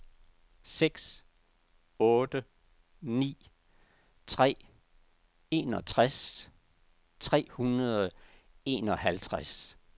seks otte ni tre enogtres tre hundrede og enoghalvtreds